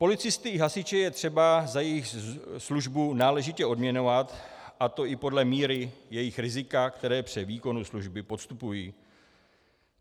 Policisty i hasiče je třeba za jejich službu náležitě odměňovat, a to i podle míry jejich rizika, které při výkonu služby podstupují.